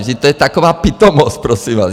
Vždyť to je taková pitomost, prosím vás.